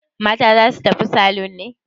Mata za su tafi salon ne?